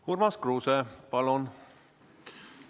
Urmas Kruuse, palun!